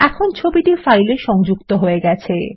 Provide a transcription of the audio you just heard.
এখন ছবিটি ফাইলে সংযুক্ত হয়ে গেছে